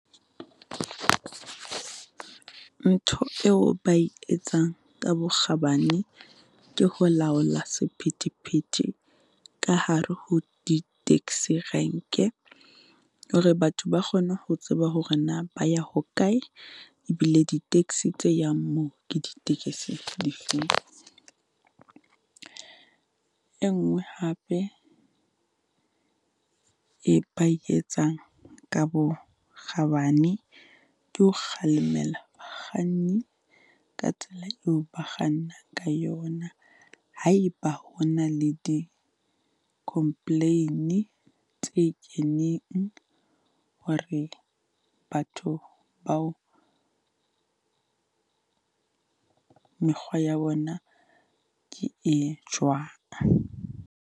Ntho eo ba e etsang ka bokgabane ke ho laola sephethephethe ka hare ho di-taxi rank-e, hore batho ba kgone ho tseba hore na ba ya hokae, e bile di-taxi tse yang moo, ke di tekesi di feng? E nngwe hape, e ba e etsang ka bokgabane ke ho kgalemella bakganni ka tsela eo ba kganna ka yona. Ha e ba ho na le di-complain tse keneng hore batho bao, mekgwa ya bona ke e jwang.